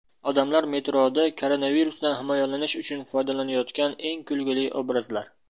Odamlar metroda koronavirusdan himoyalanish uchun foydalanayotgan eng kulgili obrazlar .